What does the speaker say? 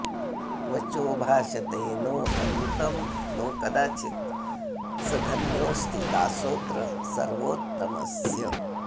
वचो भाषते नोऽनृतं नो कदाचित् स धन्योऽस्ति दासोऽत्र सर्वोत्तमस्य